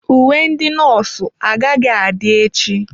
Uwe ndị nọọsụ agaghị adị echi.